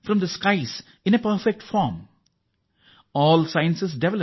ಯಾವುದೇ ವಿಜ್ಞಾನ ಪರಿಪೂರ್ಣ ರೂಪದಲ್ಲಿ ಆಕಾಶದಿಂದ ಬಿದ್ದುದಲ್ಲ ಎಂದು